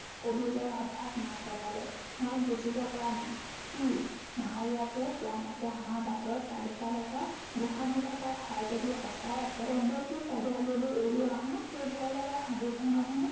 কবিবৰে হঠাৎ মাত লগালে, মই বুজিব পৰা নাই। কি? নাৱৰীয়াটোৱে কোৱা মতে আমাৰ বাটত কালিকা লগা গোঁসানী থকা ঠাই যদি সঁচাই আছে তেন্তে সেই কালি আবেলি এৰি অহা সেই ভয় লগা হাবিখনেই নে